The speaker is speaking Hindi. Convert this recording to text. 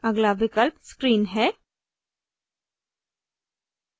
अगला विकल्प screen है